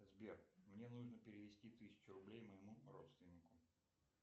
сбер мне нужно перевести тысячу рублей моему родственнику